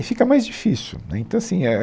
E fica mais difícil, né, então assim é